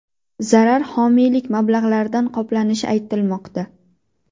Zarar homiylik mablag‘laridan qoplanishi aytilmoqda.